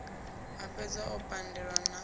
a fhedze o pandelwa na